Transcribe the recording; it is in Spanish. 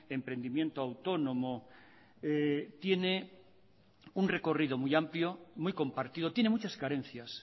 emprendimiento autónomo tiene un recorrido muy amplio muy compartido tiene muchas carencias